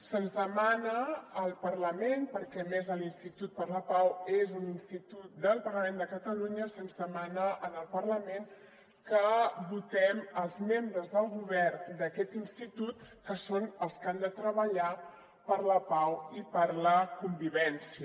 se’ns demana al parlament perquè a més l’institut per la pau és un institut del parlament de catalunya se’ns demana al parlament que votem els membres del govern d’aquest institut que són els que han de treballar per la pau i per la convivència